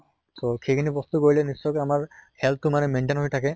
so সেইখিনি বস্তু কৰিলে নিশ্চয়্কৈ আমাৰ health টো মানে maintain হৈ থাকে।